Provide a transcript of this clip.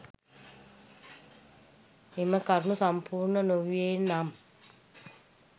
එම කරුණු සම්පූර්ණ නොවූයේ නම්